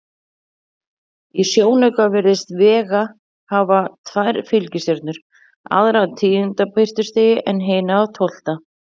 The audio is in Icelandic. Í sjónauka virðist Vega hafa tvær fylgistjörnur, aðra af tíunda birtustigi en hina af tólfta.